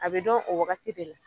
A be dɔn o wagati de la